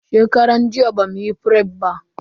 Shekaran jiya bamuyi fref ba.